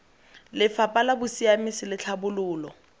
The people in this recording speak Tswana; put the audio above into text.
lefapha la bosiamisi le tlhabololo